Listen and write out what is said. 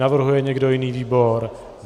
Navrhuje někdo jiný výbor?